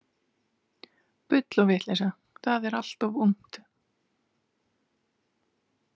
Bull og vitleysa, það er allt of ungt.